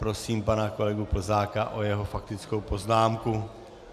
Prosím pana kolegu Plzáka o jeho faktickou poznámku.